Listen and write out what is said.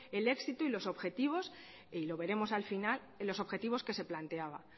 el éxito y los objetivos que se planteaban y lo veremos al final